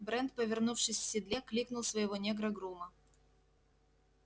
брент повернувшись в седле кликнул своего негра-грума